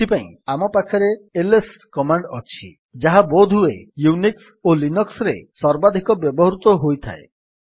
ଏଥିପାଇଁ ଆମ ପାଖରେ ଆଇଏସ କମାଣ୍ଡ୍ ଅଛି ଯାହା ବୋଧହୁଏ ୟୁନିକ୍ସ୍ ଓ ଲିନକ୍ସ୍ ରେ ସର୍ବାଧିକ ବ୍ୟବହୃତ ହୋଇଥାଏ